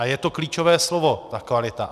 A je to klíčové slovo, ta kvalita.